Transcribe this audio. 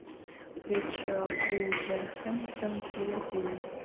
встреча вулверхэмптон с ливерпулем